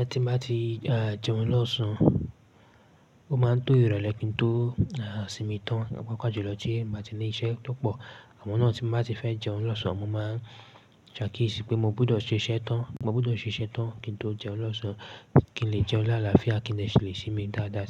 Ẹ tí n bá ti jẹun lọ́sàn án, ó máa ń to ìrọ̀lẹ́ kí n tó sinmi tán, paapa jùlọ tí n ba ti ní iṣẹ́ tó pọ̀. Àmọ́ náà tí má ti fẹ́ jẹun lọ́sàn, mo máa ń ṣakíyèsí pé mo gbọ́dọ̀ ṣiṣẹ́ tán, mo gbọ́dọ̀ ṣiṣẹ́ tán kí n tó jẹun lọ́sàn. Kí n lè jẹun láàláfíà kí n dè sílẹ̀ sími dáadáa